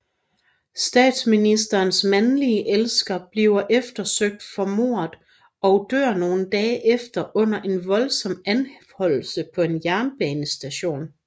Statsministerens mandlige elsker bliver eftersøgt for mordet og dør nogle dage efter under en voldsom anholdelse på en jernbanestation